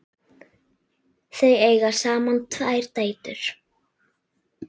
Þau eiga saman tvær dætur.